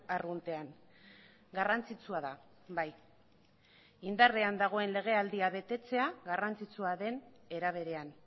arruntean garrantzitsua da bai indarrean dagoen legealdia betetzea garrantzitsua den era berean